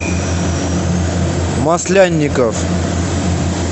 маслянников